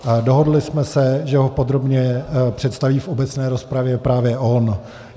Dohodli jsme se, že ho podrobně představí v obecné rozpravě právě on.